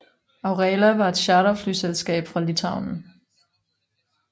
Aurela var et charterflyselskab fra Litauen